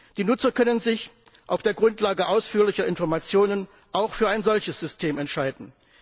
Die Nutzer können sich auf der Grundlage ausführlicher Informationen auch für ein solches System entscheiden.